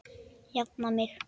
Jafna mig!